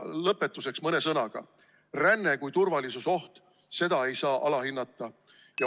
Lõpetuseks mõne sõnaga: ränne kui turvalisusoht – seda ei saa alahinnata.